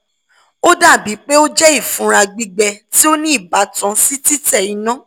o o dabi pe o jẹ ifunra gbigbẹ ti o ni ibatan si titẹ ina